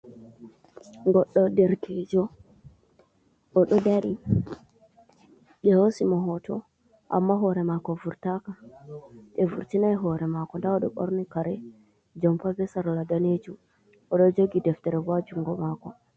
Goɗɗo derekeejo, o ɗo dari. Ɓe koosi mo hooto ammaa hoore maako wurtaaki. Ɓe ngurtinaay hoore maako. Ndaa o ɗo ɓorni kare, jompa bee sarla daneejum. O ɗo jogii deftere haa junngo maako.